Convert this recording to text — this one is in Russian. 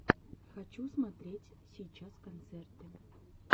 хочу смотреть сейчас концерты